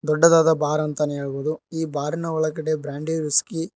ದೊಡ್ಡದಾದ ಬಾರ್ ಅಂತಾನೆ ಹೇಳ್ಬೋದು ಈ ಬಾರಿನ ಒಳಗಡೆ ಬ್ರಾಂಡಿ ವಿಸ್ಕಿ --